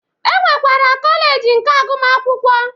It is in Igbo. E nwekwara kọleji nke agụmakwụkwọ